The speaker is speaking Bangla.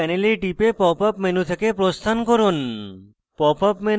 jmol panel টিপে popup menu থেকে প্রস্থান করুন